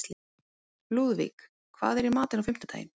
Lúðvíg, hvað er í matinn á fimmtudaginn?